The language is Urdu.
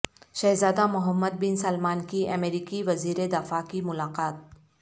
شہزاد ہ محمد بن سلمان کی امریکی وزیر دفاع کی ملاقات